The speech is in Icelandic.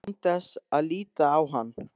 Án þess að líta á hann.